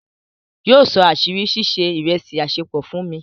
Yíọ só àṣírí sísẹ̀ ìrẹ̀sì àṣẹ̀pọ fún mi.